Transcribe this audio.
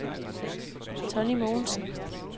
Tonny Mogensen